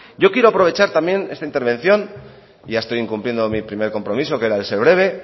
yo quiero aprovechar también esta intervención ya estoy incumpliendo mi primer compromiso que era el de ser breve